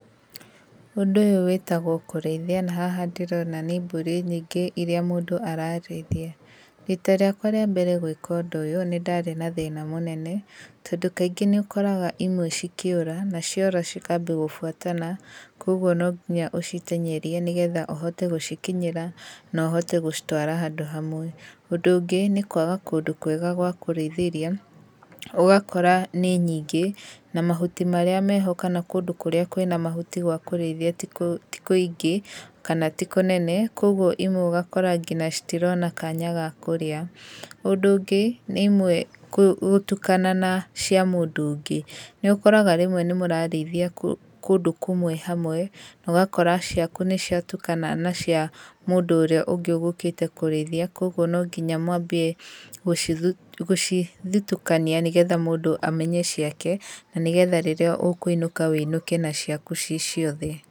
Ũndũ ũyũ wĩtagwo kũrĩithia, na haha ndĩrona nĩ mbũri nyingĩ iria mũndũ ararĩithia. Rita rĩakwa rĩa mbere gwĩka ũndũ ũyũ nĩndarĩ na thĩna mũnene, tondũ kaingĩ nĩũkoraga imwe cikĩũra, na ciora cikambia gũbuatana, koguo no nginya ũciteng'erie nĩgetha ũhote gũcikinyĩra na ũhote gũcitwara handũ hamwe. Ũndũ ũngĩ nĩ kwaga kũndũ kwega gwa kũrĩithĩria, ũgakora nĩ nyingĩ, na mahuti marĩa meho kana kũndũ kũrĩa kwĩna mahuti gwa kũrĩithia ti kũingĩ kana ti kũnene, koguo imwe ũgakora nginya citirona kanya ga kũrĩa. Ũndũ ũngĩ, nĩ imwe gũtukana na cia mũndũ ũngĩ. Nĩ ũkoraga rĩmwe nĩ mũrarĩithia kũndũ kũmwe hamwe, na ũgakora ciaku nĩciatukana na cia mũndũ ũrĩa ũngĩ ũgũkĩte kũrĩithia, koguo nonginya mwambie gũcithutũkania nĩgetha mũndũ amenye ciake, na nĩgetha rĩrĩa ũkũinũka wũinũke naciaku ciciothe.